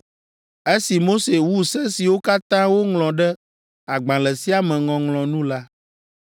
Esi Mose wu se siwo katã woŋlɔ ɖe agbalẽ sia me ŋɔŋlɔ nu la,